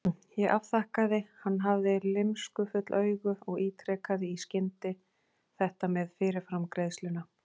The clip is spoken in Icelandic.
Ég afþakkaði, hann hafði lymskufull augu, og ítrekaði í skyndi þetta með fyrirframgreiðsluna.